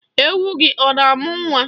Ewu gị ọ na-amụ nwa?